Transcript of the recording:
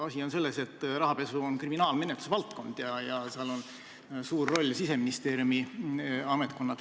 Asi on selles, et rahapesu on kriminaalmenetluse valdkond ja seal on suur roll Siseministeeriumi ametkonnal.